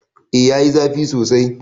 Eh yayi zafi sosai.